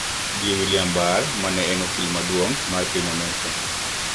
Gi William Barr ma en okil maduong` mar piny Amerka